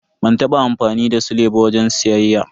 Ban taba amfani da sile ba wajen siyayya.